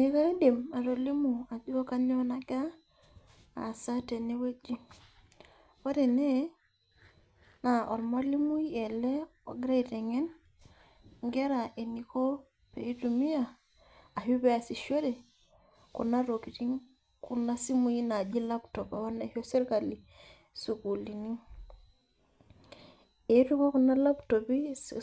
Ee kaidim atolimu ajo kanyioo nagira, aasa tenewueji. Ore ene, naa ormalimui ele ogira aiteng'en inkera eniko pitumia ashu peasishore, kuna tokiting kuna simui naji laptop apa naisho sirkali sukuulini. Etuo apa kuna laptopi